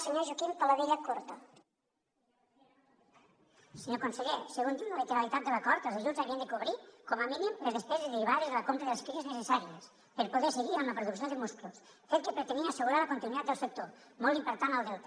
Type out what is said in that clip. senyor conseller segons diu la literalitat de l’acord els ajuts havien de cobrir com a mínim les despeses derivades de la compra de les cries necessàries per poder seguir amb la producció de musclos fet que pretenia assegurar la continuïtat del sector molt important al delta